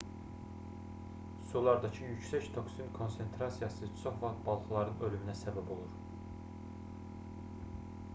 sulardakı yüksək toksin konsentrasiyası çox vaxt balıqların ölümünə səbəb olur